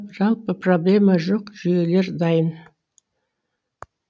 жалпы проблема жок жүйелер дайын